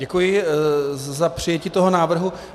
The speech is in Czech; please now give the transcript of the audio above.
Děkuji za přijetí toho návrhu.